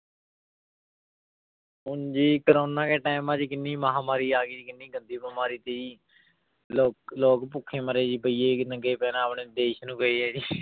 ਹੁੁਣ ਜੀ ਕੋਰੋਨਾ ਕਾ time ਆ ਜੀ ਕਿੰਨੀ ਮਹਾਂਮਾਰੀ ਆ ਗਈ ਕਿੰਨੀ ਗੰਦੀ ਬਿਮਾਰੀ ਸੀ ਲੋ ਲੋਕ ਭੁੱਖੇ ਮਰੇ ਜੀ ਪਈ ਹੈ ਕਿ ਨੰਗੇ ਪੈਰਾਂ ਆਪਣੇ ਦੇਸ ਨੂੰ ਪਏ ਆ ਜੀ।